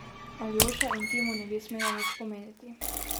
Aljoša in ti mu ne bi smela nič pomeniti.